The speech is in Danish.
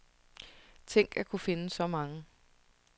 Tænk at kunne finde så mange.